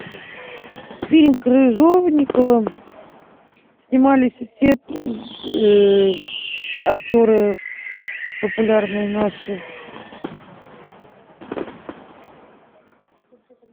фильм крыжовникова снимались все актеры популярные наши